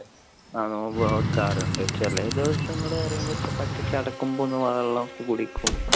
ആ നോമ്പ് നോർക്കാറുണ്ട്. ചില ദിവസങ്ങളിൽ പറയുമ്പോൾ ചടക്കുമ്പോ ഒന്ന് വെള്ളം ഒക്കെ കുടിക്കും.